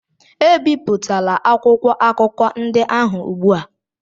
ebipụtala akwụkwọ akụkọ ndị ahụ ugbu a!